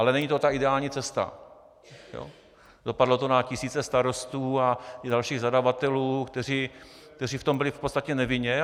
Ale není to ta ideální cesta, dopadlo to na tisíce starostů i dalších zadavatelů, kteří v tom byli v podstatě nevinně.